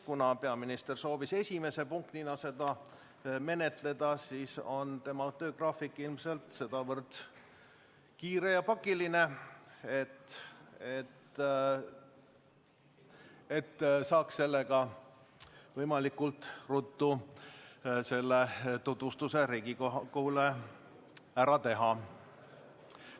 " Kuna peaminister soovis seda esimese punktina menetleda, siis omapoolset seletust andes arvan, et tema töögraafik on sedavõrd kiire ja pakiline, et ta sooviks võimalikult ruttu selle tutvustuse Riigikogule ära teha.